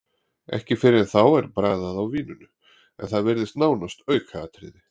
Ekki fyrr en þá er bragðað á víninu, en það virðist nánast aukaatriði.